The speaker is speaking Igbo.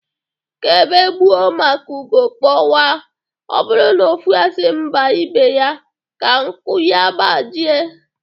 Ka ébé gbuo ma ka ugo kpọkwaa. Ọ bụrụ na ofu asị mba ibe ya ka nku ya gbajie